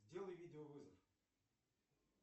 сделай видеовызов